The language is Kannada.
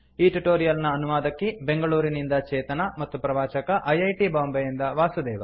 ಈ ಟ್ಯುಟೋರಿಯಲ್ ನ ಅನುವಾದಕಿ ಬೆಂಗಳೂರಿನಿಂದ ಚೇತನಾ ಮತ್ತು ಪ್ರವಾಚಕ ಐ ಐ ಟಿ ಬಾಂಬೆಯಿಂದ ವಾಸುದೇವ